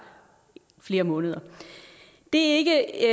flere måneder det